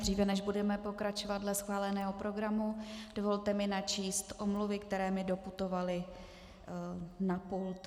Dříve, než budeme pokračovat dle schváleného programu, dovolte mi načíst omluvy, které mi doputovaly na pult.